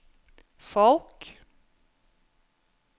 folk